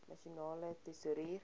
nasionale tesourie